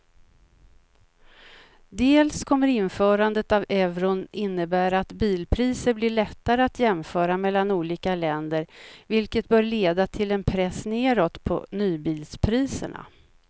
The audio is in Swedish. Dels kommer införandet av euron innebära att bilpriser blir lättare att jämföra mellan olika länder vilket bör leda till en press nedåt på nybilspriserna.